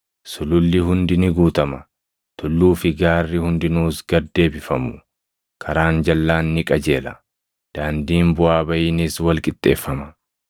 Sululli hundi ni guutama; tulluu fi gaarri hundinuus gad deebifamu. Karaan jalʼaan ni qajeela; daandiin buʼaa baʼiinis wal qixxeeffama.